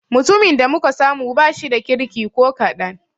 Mutumin da muka samu ba shida kirki ko kaɗan.